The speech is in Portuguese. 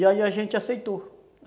E aí a gente aceitou.